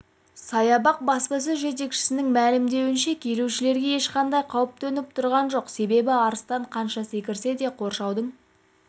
саябақ баспасөз жетекшісінің мәлімдеуінше келушілерге ешқандай қауіп төніп тұрған жоқ себебі арыстан қанша секірсе де қоршаудың